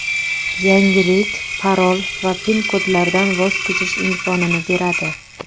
Yangilik parol va pin-kodlardan voz kechish imkonini beradi.